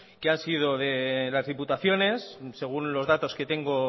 que han sido de las diputaciones según los datos que tengo